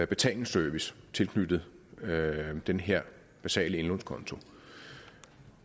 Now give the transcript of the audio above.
betalingsservice tilknyttet den her basale indlånskonto